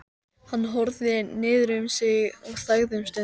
Hann horfði niður fyrir sig og þagði um stund.